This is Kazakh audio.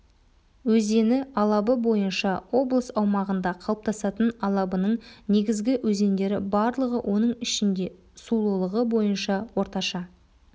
өзені алабы бойынша облыс аумағында қалыптасатын алабының негізгі өзендері барлығы оның ішінде сулылығы бойынша орташа